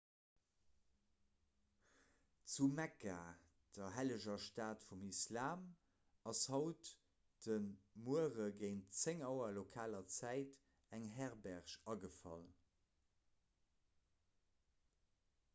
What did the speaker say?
zu mekka der helleger stad vum islam ass haut de muere géint 10 auer lokaler zäit eng herberg agefall